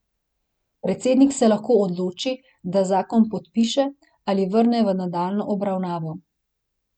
Predsednik se lahko odloči, da zakon podpiše, ali vrne v nadaljnjo obravnavo.